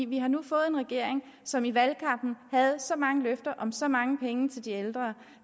vi har nu fået en regering som i valgkampen havde så mange løfter om så mange penge til de ældre